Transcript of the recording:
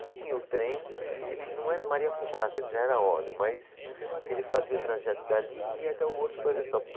Então tinha o trem, que ele não era Maria Fumaça, ele já era a óleo, mas ele fazia o trajeto dali e ia até o Horto Florestal.